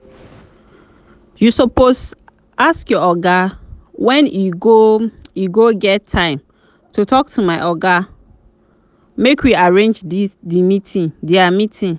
you suppose ask your oga when e go go get time to talk to my oga make we arrange dia meeting